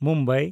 Mumbai